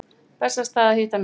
Bessastaði að hitta mig?